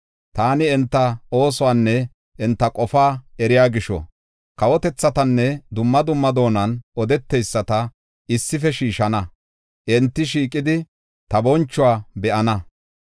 “Taani enta oosuwanne enta qofaa eriya gisho, kawotethatanne dumma dumma doonan odeteyisata, issife shiishana; enti shiiqidi, ta bonchuwa be7ana.